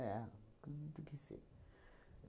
acredito que sim.